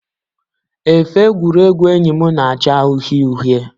Efe egwuregwu enyi m na-acha uhie uhie